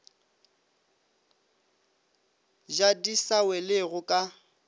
ja di sa welego ka